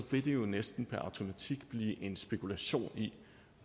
vil det jo næsten per automatik blive en spekulation i